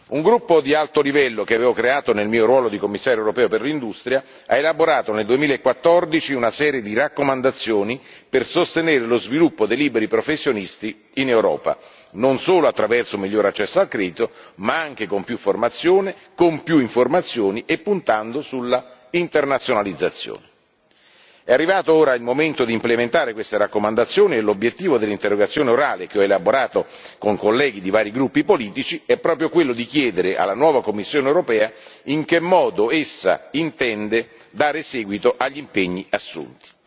Un gruppo di alto livello che avevo creato nel mio ruolo di Commissario europeo per l'industria, ha elaborato nel 2014 una serie di raccomandazioni per sostenere lo sviluppo dei liberi professionisti in Europa, non solo attraverso un miglior accesso al credito, ma anche con più formazione, con più informazioni e puntando sull'internazionalizzazione. È arrivato ora il momento di implementare queste raccomandazioni e l'obiettivo dell'interrogazione orale che ho elaborato con colleghi di vari gruppi politici, è proprio quello di chiedere alla nuova Commissione europea in che modo essa intenda dare seguito agli impegni assunti.